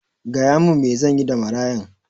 Gaya min me zanyi da marayan